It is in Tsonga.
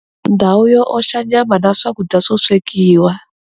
Ndhawu yo oxa nyama na swakudya swo swekiwa.